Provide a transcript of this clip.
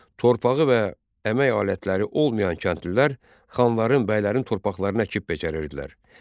Torpağı və əmək alətləri olmayan kəndlilər xanların, bəylərin torpaqlarını əkib becərirdilər.